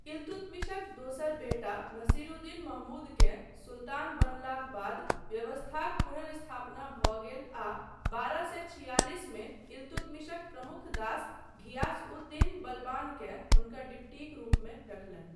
इल्तुतमिशक दोसर बेटा नासिरुद्दीन महमूदकेँ सुल्तान बनलाक बाद व्यवस्थाक पुनर्स्थापना भऽ गेल आ बारह सए छियालिस मे इल्तुतमिशक प्रमुख दास घियास उद दीन बलबानकेँ हुनकर डिप्टीक रूपमे रखलनि।